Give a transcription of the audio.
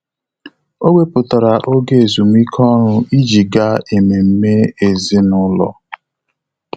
Ọ́ wèpụ̀tárà oge ezumike ọ́rụ́ iji gàá ememe ezinụlọ.